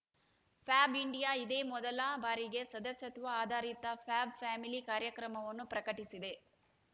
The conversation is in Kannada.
ಫ್ಯಾಬ್ ಇಂಡಿಯಾ ಇದೇ ಮೊದಲ ಬಾರಿಗೆ ಸದಸ್ಯತ್ವ ಆಧಾರಿತ ಫ್ಯಾಬ್ ಫ್ಯಾಮಿಲಿ ಕಾರ್ಯಕ್ರಮವನ್ನು ಪ್ರಕಟಿಸಿದೆ